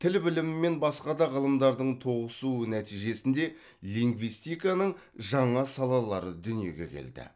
тіл білімі мен басқа да ғылымдардың тоғысуы нәтижесінде лингвистиканың жаңа салалары дүниеге келді